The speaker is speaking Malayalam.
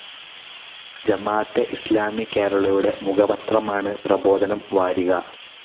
ജമാഅത്തെ ഇസ്‌ലാമി കേരളയുടെ മുഖപത്രമാണ് പ്രബോധനം വാരിക.